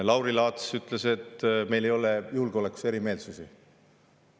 Lauri Laats ütles, et meil ei ole julgeolekus erimeelsusi.